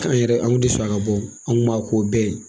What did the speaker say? Fɛn min yɛrɛ an kun tɛ sɔn a ka bɔ o an kun b'a k'u bɛɛ ye.